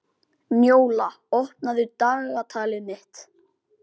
Njóla, opnaðu dagatalið mitt.